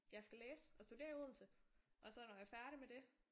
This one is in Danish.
Jeg skal læse og studere i odense og så når jeg er færdig med det